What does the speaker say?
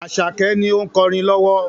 Àṣàkẹ́ ni ó ń kọrin lowo.